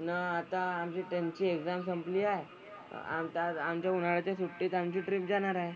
न आता आमची त्यांची एक्साम संपली आहे. आमचा आज आमच्या उन्हाळ्याच्या सुट्टीत आमची ट्रिप जाणार आहे.